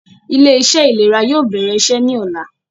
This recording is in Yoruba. Ilé - iṣẹ́ ìlera yóò bẹ̀rẹ̀ iṣẹ́ ní ọ̀la